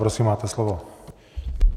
Prosím, máte slovo.